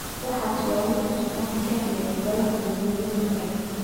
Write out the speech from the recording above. Waxas waa wixi suncada kahaleye goolaha waziradhi xore.